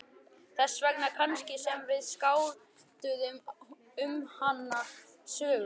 Þess vegna kannski sem við skálduðum um hana sögu.